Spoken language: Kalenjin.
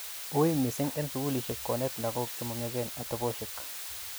ui mising en sugulishek konet lagok chemomyachen oteposhek